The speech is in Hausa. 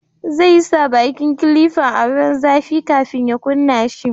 Zai sa bakin kilifan a ruwan zafi kafin ya kunna shi